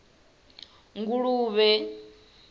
nguluvhe